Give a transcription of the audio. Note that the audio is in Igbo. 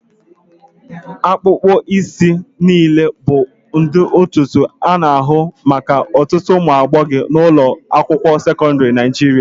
Akpụkpọ isi azụ niile bụ ụdị ntutu a na-ahụkarị maka ọtụtụ ụmụ agbọghọ ụlọ akwụkwọ sekọndrị Naijiria.